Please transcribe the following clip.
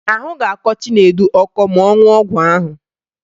Ahụ ga-akọ Chinedu ọkọ ma ọ ṅụọ ọgwụ ahụ